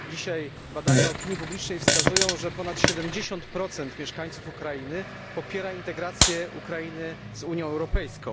Obecne badania opinii publicznej wskazują, że ponad 70 mieszkańców Ukrainy popiera integrację Ukrainy z Unią Europejską.